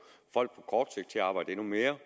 folk til at arbejde endnu mere